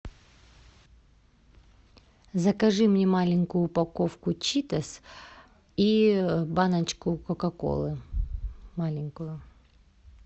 закажи мне маленькую упаковку читос и баночку кока колы маленькую